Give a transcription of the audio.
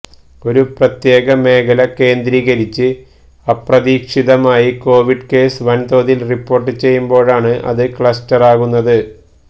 ഒരു പ്രത്യേക മേഖല കേന്ദ്രീകരിച്ച് അപ്രതീക്ഷിതമായി കൊവിഡ് കേസ് വൻതോതിൽ റിപ്പോർട്ട് ചെയ്യുമ്പോഴാണ് അത് ക്ലസ്റ്ററാകുന്നത്